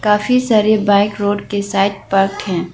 काफी सारे bike road के साइड पार्क है।